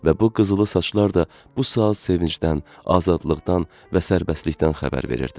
Və bu qızılı saçlar da bu saat sevincdən, azadlıqdan və sərbəstlikdən xəbər verirdi.